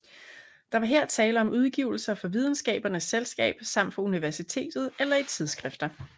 Der var her tale om udgivelser fra Videnskabernes Selskab samt fra universitetet eller i tidsskrifter